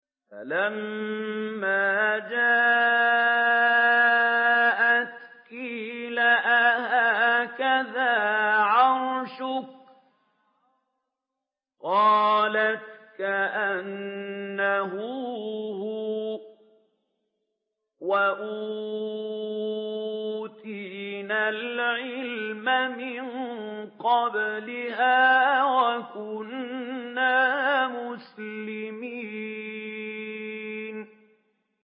فَلَمَّا جَاءَتْ قِيلَ أَهَٰكَذَا عَرْشُكِ ۖ قَالَتْ كَأَنَّهُ هُوَ ۚ وَأُوتِينَا الْعِلْمَ مِن قَبْلِهَا وَكُنَّا مُسْلِمِينَ